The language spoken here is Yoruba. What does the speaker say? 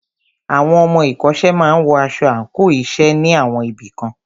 Àwọn ọmọ ìkọ́ṣẹ́ máà wọ aṣọ àńkò iṣẹ́ ní àwọn ibì kan.